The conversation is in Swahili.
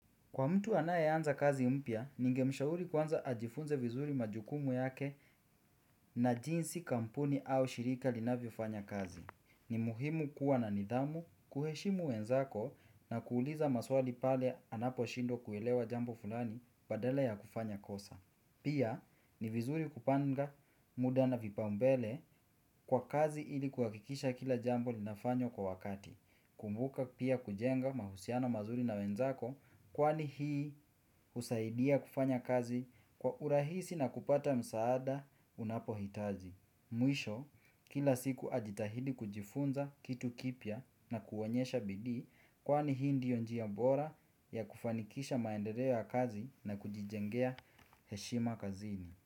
Kwa mtu anayeanza kazi mpya, ningemshauri kwanza ajifunze vizuri majukumu yake na jinsi kampuni au shirika linavyofanya kazi. Ni muhimu kuwa na nidhamu, kuheshimu wenzako na kuuliza maswali pale anaposhindwa kuelewa jambo fulani badala ya kufanya kosa. Pia ni vizuri kupanga muda na vipaumbele kwa kazi ili kuhakikisha kila jambo linafanywa kwa wakati. Kumbuka pia kujenga mahusiana mazuri na wenzako kwani hii husaidia kufanya kazi kwa urahisi na kupata msaada unapohitaji. Mwisho kila siku ajitahidi kujifunza kitu kipya na kuonyesha bidii kwani hii ndiyo njia bora ya kufanikisha maendereo ya kazi na kujijengea heshima kazini.